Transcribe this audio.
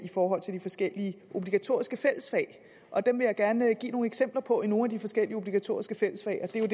i forhold til de forskellige obligatoriske fællesfag og dem vil jeg gerne give nogle eksempler på i nogle af de forskellige obligatoriske fællesfag og det er